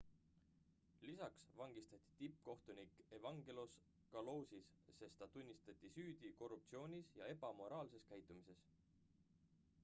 lisaks vangistati tippkohtunik evangelos kalousis sest ta tunnistati süüdi korruptsioonis ja ebamoraalses käitumises